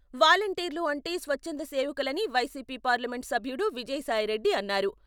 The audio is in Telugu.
వాలంటీర్లు అంటే స్వచ్చంద సేవకులని వైసీపీ పార్లమెంట్ సభ్యుడు విజయసాయిరెడ్డి అన్నారు.